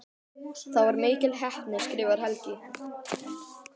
Það var mikil heppni skrifar Helgi.